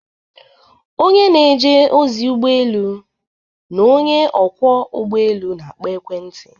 onye na-eje ozi ụgbọ elu na onye ọkwọ ụgbọ elu na-akpọ ekwentị